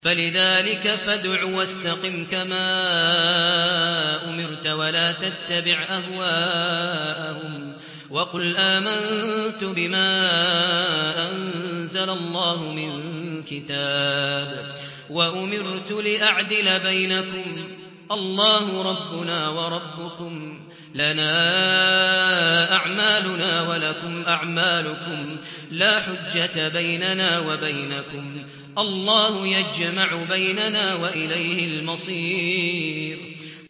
فَلِذَٰلِكَ فَادْعُ ۖ وَاسْتَقِمْ كَمَا أُمِرْتَ ۖ وَلَا تَتَّبِعْ أَهْوَاءَهُمْ ۖ وَقُلْ آمَنتُ بِمَا أَنزَلَ اللَّهُ مِن كِتَابٍ ۖ وَأُمِرْتُ لِأَعْدِلَ بَيْنَكُمُ ۖ اللَّهُ رَبُّنَا وَرَبُّكُمْ ۖ لَنَا أَعْمَالُنَا وَلَكُمْ أَعْمَالُكُمْ ۖ لَا حُجَّةَ بَيْنَنَا وَبَيْنَكُمُ ۖ اللَّهُ يَجْمَعُ بَيْنَنَا ۖ وَإِلَيْهِ الْمَصِيرُ